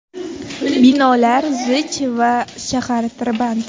Binolar zich va shahar tirband.